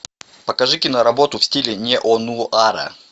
покажи киноработу в стиле неонуара